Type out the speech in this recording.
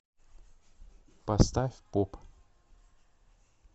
поставь поп